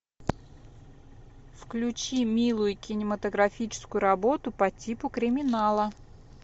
включи милую кинематографическую работу по типу криминала